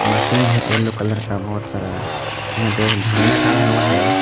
Machine है yellow colour का बहुत सारा यहां पे एक झंडा गाड़ा हुआ है।